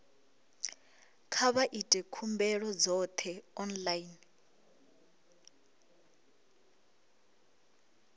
kha vha ite khumbelo dzoṱhe online